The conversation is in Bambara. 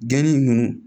Geni nunnu